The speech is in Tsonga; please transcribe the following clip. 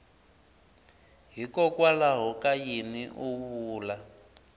hikokwalaho ka yini u vula